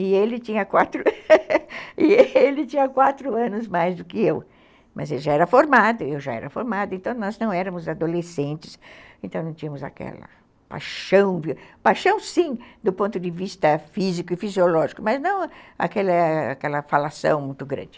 e ele tinha quatro e ele tinha quatro anos a mais do que eu, mas ele já era formado, eu já era formada, então nós não éramos adolescentes, então não tínhamos aquela paixão, paixão sim do ponto de vista físico e fisiológico, mas não aquela aquela falação muito grande.